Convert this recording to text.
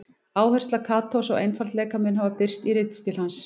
Áhersla Katós á einfaldleika mun hafa birst í ritstíl hans.